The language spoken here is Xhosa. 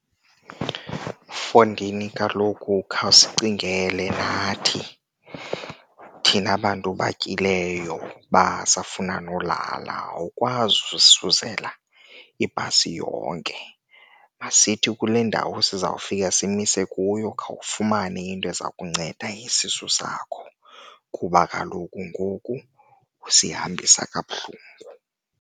Mfondini, kaloku khawusicingele nathi thina bantu batyileyo basafunda nolala, awukwazi usuzela ibhasi yonke. Masithi kule ndawo sizawufika simise kuyo, khawufumane into eza kunceda isisu sakho kuba kaloku ngoku usihambisa kabuhlungu.